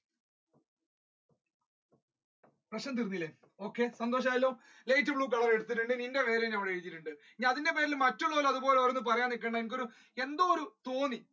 പ്രശ്നം തീർന്നില്ലേ okay സന്തോഷം ആയല്ലോ light blue എടുത്തിട്ടുണ്ട് നിന്റെ പേരും ഞാൻ എഴുതിയിട്ടുണ്ട് ഇനി അതിന്റ പേരിൽ മറ്റുള്ളവർ അതുപോലെ ഓരോന്നും പറയാൻ നിക്കണ്ട ഒരു എന്തോ ഒരു തോന്നി